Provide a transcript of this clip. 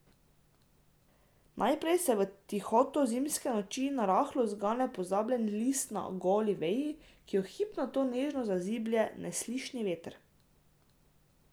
Najprej se v tihoto zimske noči narahlo zgane pozabljen list na goli veji, ki jo hip nato nežno zaziblje neslišni veter.